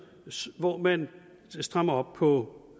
hvor man strammer op på